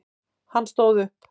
Hann stóð upp.